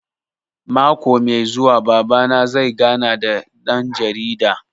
Mako mai zuwa Baba na zai gana da ɗan jarida